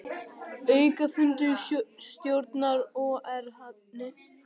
Aukafundur stjórnar OR hafinn